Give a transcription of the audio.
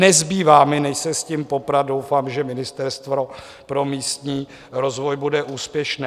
Nezbývá mi než se s tím poprat, doufám, že ministerstvo pro místní rozvoj bude úspěšné.